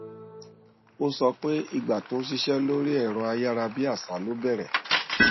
ó sọ pé ìgbà tó ń ṣiṣẹ lórí ẹrọ ayárabíàṣá ló bẹrẹ